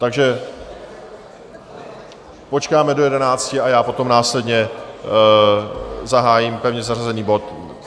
Takže počkáme do jedenácti a já potom následně zahájím pevně zařazený bod.